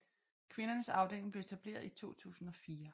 Kvindernes afdeling blev etableret i 2004